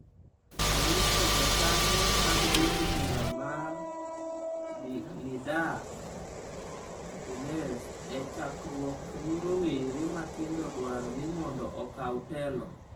Onyiso jokanyo mag duond bura mare Nidaa Tounes e chokruok ni rowere matindo dwaro ni mondo okaw telo.